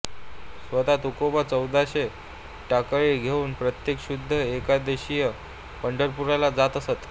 स्वतः तुकोबा चौदाशे टाळकरी घेवून प्रत्येक शुद्ध एकादशीस पंढरपुराला जात असत